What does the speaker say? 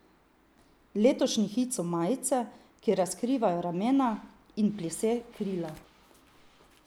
Letošnji hit so majice, ki razkrivajo ramena, in plise krila.